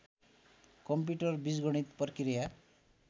computer बीजगणित प्रक्रिया